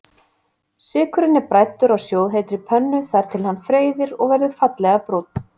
Sykurinn er bræddur á sjóðheitri pönnu þar til hann freyðir og verður fallega brúnn.